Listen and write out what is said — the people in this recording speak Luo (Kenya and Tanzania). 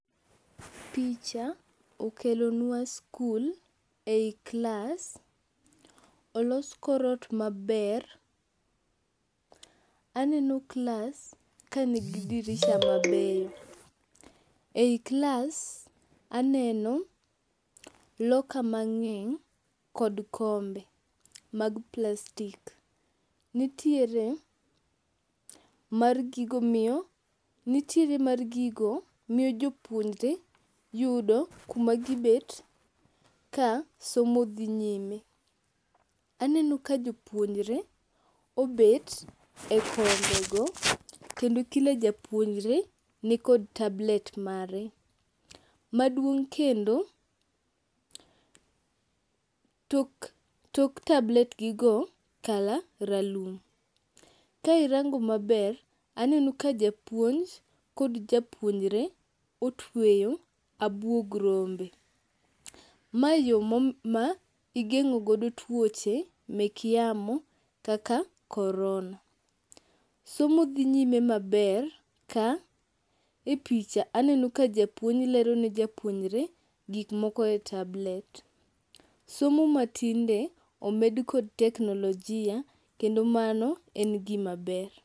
Picha okelonwa skul e i klas. Olos kor ot maber, aneno klas kanigi dirisha mabeyo . E i klas aneno loka mang'eny kod kombe mag plastik. Nitiere mar gigo miyo jopuonjre yudo kuma gibet ka somo dhi nyime. Aneno ka jopuonjre obet e kombego kendo kila japuonjre nikod tablet mare. Maduong' kendo, tok tabletgigo color ralum. Ka irango maber aneno ka japuonj kod japuonjre otweyo abuog rombe. Mae yo ma igeng'ogodo tuoche mek yamo kaka korona. Somo dhi nyime maber ka e picha aneno ka japuonj lero ne japuyonjre gikmoko e tablet. Somo matinde omed kod teknolojia kendo mano en gimaber.